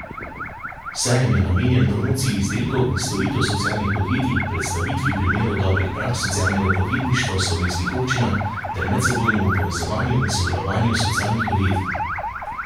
Sejem je namenjen promociji izdelkov in storitev socialnih podjetij, predstavitvi primerov dobrih praks socialnega podjetništva v slovenskih občinah ter medsebojnemu povezovanju in sodelovanju socialnih podjetij.